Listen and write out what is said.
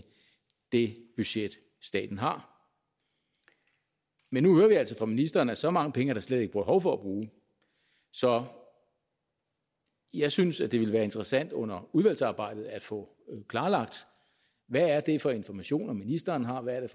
det budget staten har men nu hører vi altså fra ministeren at så mange penge er der slet ikke behov for at bruge så jeg synes at det ville være interessant under udvalgsarbejdet at få klarlagt hvad det er for informationer ministeren har hvad det